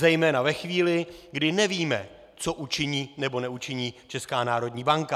Zejména ve chvíli, kdy nevíme, co učiní nebo neučiní Česká národní banka.